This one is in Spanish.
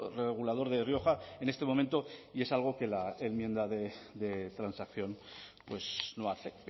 regulador de rioja en este momento y es algo que la enmienda de transacción pues no hace